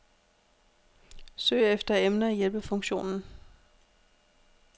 Søg efter emner i hjælpefunktionen.